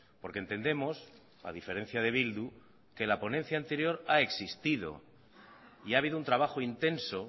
porque entendemos ha diferencia de bildu que la ponencia anterior ha existido y ha habido un trabajo intenso